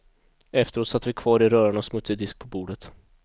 Efteråt satt vi kvar i röran av smutsig disk på bordet.